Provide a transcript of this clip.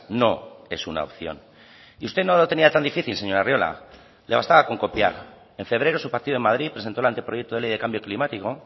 no es una opción y usted no lo tenía tan difícil señor arriola le bastaba con copiar en febrero su partido en madrid presentó el anteproyecto de ley de cambio climático